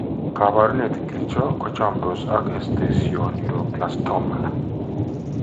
Kaabarunet ing'ircho ko chomndos ak esthesioneuroblastoma?